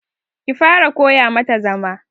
Ki fara koya ma ta zama.